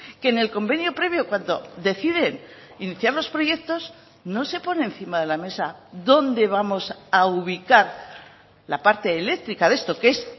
que en el convenio previo cuando deciden iniciar los proyectos no se pone encima de la mesa dónde vamos a ubicar la parte eléctrica de esto que es